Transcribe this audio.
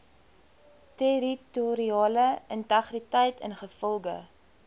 territoriale integriteit ingevolge